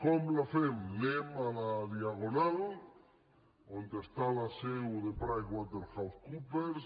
com la fem anem a la diagonal on està la seu de pricewaterhousecoopers